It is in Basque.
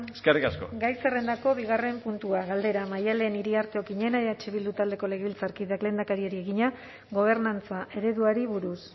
eskerrik asko gai zerrendako bigarren puntua galdera maddalen iriarte okiñena eh bildu taldeko legebiltzarkideak lehendakariari egina gobernantza ereduari buruz